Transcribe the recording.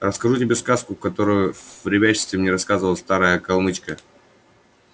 расскажу тебе сказку которую в ребячестве мне рассказывала старая калмычка